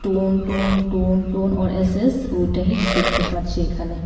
টুন টুন টুন টুন ওর এস_এস দেখতে পারছি এখানে।